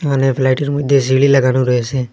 এখানে ফ্লাইটের মইধ্যে সিঁড়ি লাগানো রয়েসে।